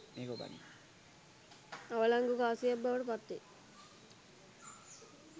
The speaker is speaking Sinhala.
අවලංගු කාසියක් බවට පත් වේ.